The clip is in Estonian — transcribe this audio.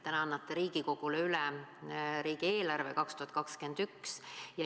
Täna annate Riigikogule üle 2021. aasta riigieelarve.